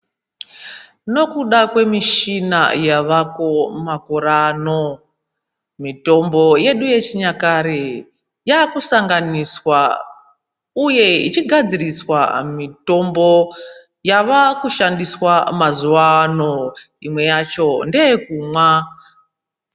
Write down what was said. Nokuda kwemishina yavako makore ano mitombo yedu yechinyakare yaakusanganiswa uye ichigadziriswa mitombo yava kushandiswa mazuvaano imwe yacho ndeyekumwa.